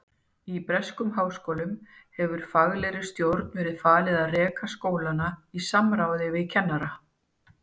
Í breskum háskólum hefur faglegri stjórn verið falið að reka skólana í samráði við kennara.